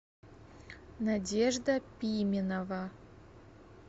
надежда пименова